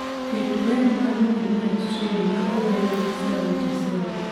Ket cwer mar midnight train maower gi sauti sol